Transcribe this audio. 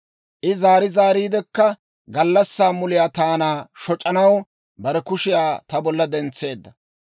I zaari zaariidekka gallassaa muliyaa taana shoc'anaw bare kushiyaa ta bollan dentseedda.